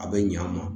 A bɛ ɲa a ma